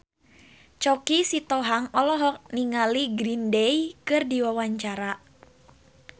Choky Sitohang olohok ningali Green Day keur diwawancara